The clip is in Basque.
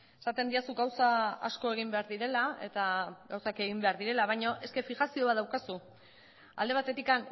esaten didazu gauza asko egin behar direla eta gauzak egin behar direla baino eske fijazio bat daukazu alde batetik